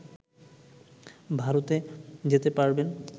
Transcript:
ভারতে যেতে পারবেন